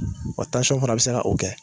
Wa fana bi se ka o kɛ